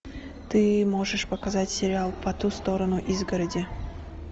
ты можешь показать сериал по ту сторону изгороди